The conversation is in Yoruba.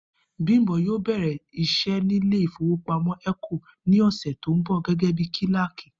Bímpé yóò bè̩rè̩ is̩é̩ nílé ìfowópamó̩ É̩kò ní ò̩sè̩ tó ń bò̩ gé̩gé̩ bí kíláàkì